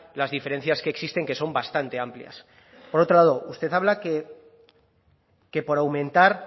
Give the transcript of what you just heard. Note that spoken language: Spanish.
las diferencias que existen que son bastante amplias por otro lado usted habla que por aumentar